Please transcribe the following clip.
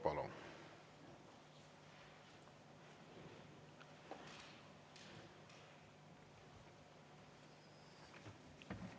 Palun!